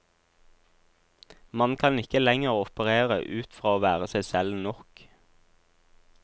Man kan ikke lenger operere ut fra å være seg selv nok.